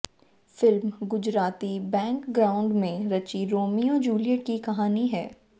film Gujarati background में रची Romeo Juliet की कहानी है